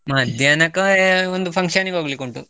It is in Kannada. ಮಧ್ಯಾಹ್ನಕ್ಕೆ ಆ ಒಂದು function ಗೆ ಹೋಗ್ಲಿಕ್ಕೆ ಉಂಟು.